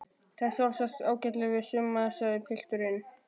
Það á sjálfsagt ágætlega við suma sagði pilturinn.